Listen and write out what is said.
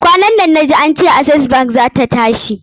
Kwanan nan na ji ance Access bank zata tashi.